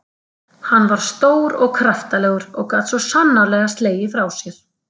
Hann var stór og kraftalegur og gat svo sannarlega slegið frá sér.